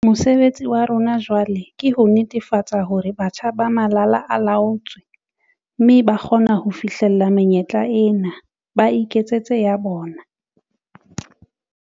Mosebetsi wa rona jwale ke ho netefatsa hore batjha ba malala a laotswe mme ba kgona ho fihlella menyetla ena, ba iketsetse ya bona.